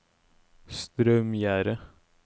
Straumgjerde